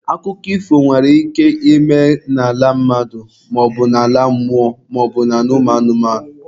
Akụkọ ifo nwere ike ịme n'ala mmadụ maọbu ala mmụọ maọbụ ala ụmụ anụmanụ.